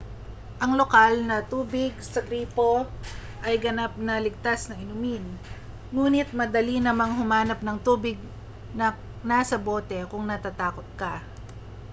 ang lokal na tubig sa gripo ay ganap na ligtas na inumin nguni't madali namang humanap ng tubig na nasa bote kung natatakot ka